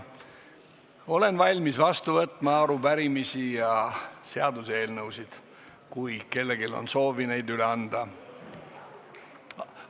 Olen valmis vastu võtma arupärimisi ja seaduseelnõusid, kui kellelgi on soovi neid üle anda.